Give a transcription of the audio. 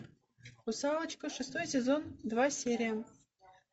русалочка шестой сезон два серия